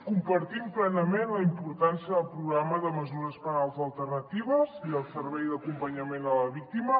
compartim plenament la importància del programa de mesures penals alternatives i el servei d’acompanyament a la víctima